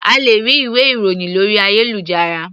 A lè rí ìwé ìròhìn lórí ayélujára.